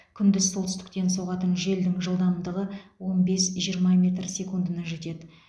күндіз солтүстіктен соғатын желдің жылдамдығы он бес жиырма метр секундына жетеді